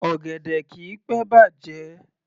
Ọ̀gẹ̀dẹ̀ kìí pé bàjẹ́